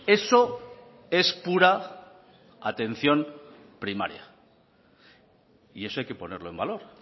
eso es pura atención primaria y eso hay que ponerlo en valor